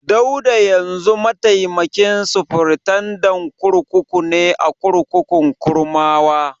Dauda yanzu mataimakin sufritandan kurkuku ne a kurkukun Kurmawa.